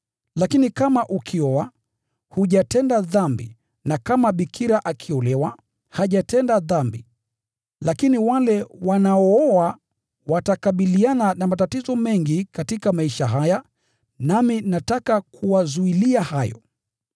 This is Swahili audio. Lakini kama ukioa, hujatenda dhambi; na kama bikira akiolewa, hajatenda dhambi. Lakini wale wanaooa watakabiliana na matatizo mengi katika maisha haya, nami nataka kuwazuilia hayo.